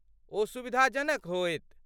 ओ सुविधाजनक होयत।